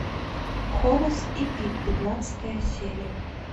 хорас и пит пятнадцатая серия